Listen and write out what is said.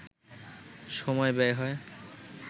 সময় ব্যয় হয়